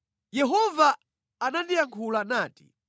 Yehova anandiyankhula nati: